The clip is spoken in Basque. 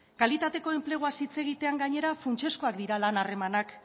kalitateko enpleguaz hitz egitean gainera funtsezkoak dira lan harremanak